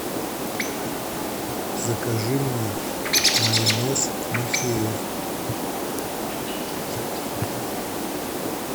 закажи мне майонез махеев